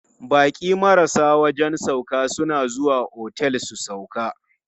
Baƙi marasa wajen sauƙa suna zuwa otel su sauƙa.